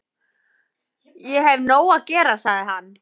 Ég hef nóg að gera, sagði hann.